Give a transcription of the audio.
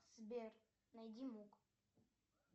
сбер найди мук